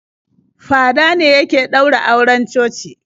Fada ne yake ɗaura auren coci.